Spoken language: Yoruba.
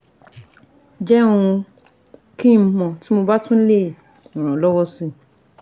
Jẹ́ um kí n mọ̀ tí mo bá lè ràn ọ́ lọ́wọ́ si